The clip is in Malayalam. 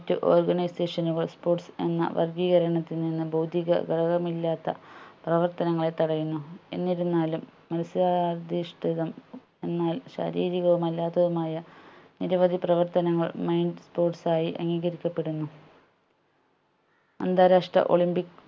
പ്രവർത്തനങ്ങളെ തടയുന്നു എന്നിരുന്നാലും മത്സരാധിഷ്ഠിതം എന്നാൽ ശാരീരികവും അല്ലാത്തതുമായ നിരവധി പ്രവർത്തനങ്ങൾ mind sports ആയി അംഗീകരിക്കപ്പെടുന്നു അന്താരാഷ്ട്ര olympic